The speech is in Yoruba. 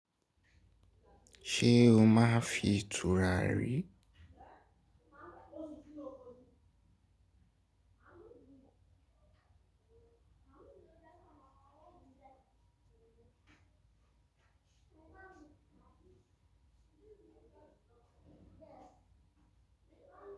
Ṣé o máa ń fi tùrà rì?